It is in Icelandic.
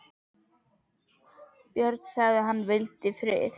Björn sagði að hann vildi frið.